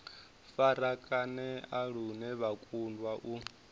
farakanea lune vha kundwa u